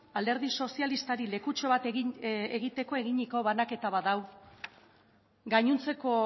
alderi sozialistari lekutxo bat egiteko eginiko banaketa bat da hau gainontzeko